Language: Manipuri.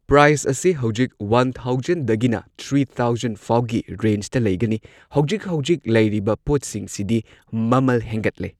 ꯄ꯭ꯔꯥꯏꯁ ꯑꯁꯦ ꯍꯧꯖꯤꯛ ꯋꯥꯟ ꯊꯥꯎꯖꯟꯗꯒꯤꯅ ꯊ꯭ꯔꯤ ꯊꯥꯎꯖꯟꯐꯥꯎꯒꯤ ꯔꯦꯟꯖꯇ ꯂꯩꯒꯅꯤ ꯍꯧꯖꯤꯛ ꯍꯧꯖꯤꯛ ꯂꯩꯔꯤꯕ ꯄꯣꯠꯁꯤꯡꯁꯤꯗꯤ ꯃꯃꯜ ꯍꯦꯟꯒꯠꯂꯦ꯫